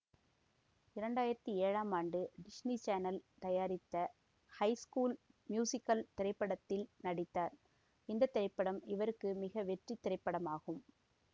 இரண்டு ஆயிரத்தி ஏழாம் ஆண்டு டிஸ்னி சேனல் தயாரித்த ஹை ஸ்கூல் மியூசிகல் திரைப்படத்தில் நடித்தார் இந்த திரைப்படம் இவருக்கு மிக வெற்றி திரைப்படமாகும்